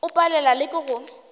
o palelwa le ke go